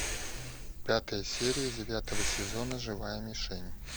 пятая серия девятого сезона живая мишень